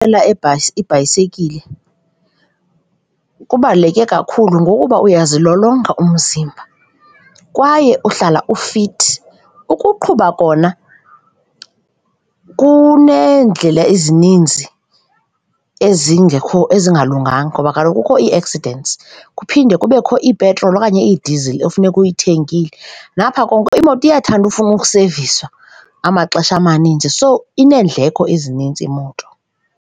ibhasi, ibhayisikile kubaluleke kakhulu ngokuba uyazilolonga umzimba kwaye uhlala ufithi. Ukuqhuba kona kuneendlela ezininzi ezingekho, ezingalunganga ngoba kaloku kukho ii-accidents kuphinde kubekho ipetroli okanye idizili ekufuneka uyithengile. Ngapha koko imoto iyathanda ufuna useviswa amaxesha amaninzi so ineendleko ezininzi imoto.